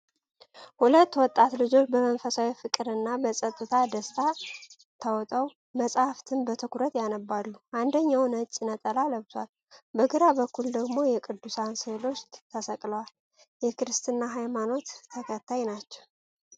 ሁለት ወጣት ልጆች በመንፈሳዊ ፍቅር እና በጸጥታ ደስታ ተውጠው መጻሕፍትን በትኩረት ያነባሉ። አንደኛው ነጭ ነጠላ ለብሷል፤ በግራ በኩል ደግሞ የቅዱሳን ሥዕሎች ተሰቅለዋል። የ ክርስትሃ ሃይማኖት ተከታይ ናቸው።